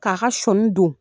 K'a ka sɔni don.